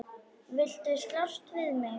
Viltu slást við mig?